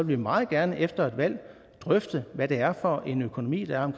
vi meget gerne efter et valg drøfte hvad det er for en økonomi der er